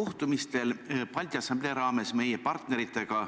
Kohtumistel Balti Assamblee raames meie partneritega